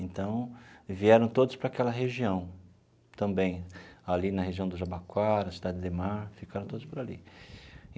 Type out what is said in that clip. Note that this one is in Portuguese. Então, vieram todos para aquela região também, ali na região do Jabaquara, Cidade Ademar, ficaram todos por ali.